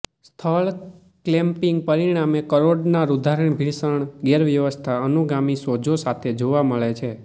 સ્થળ ક્લેમ્પિંગ પરિણામે કરોડના રુધિરાભિસરણ ગેરવ્યવસ્થા અનુગામી સોજો સાથે જોવા મળે છે